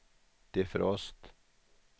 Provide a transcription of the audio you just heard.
defrost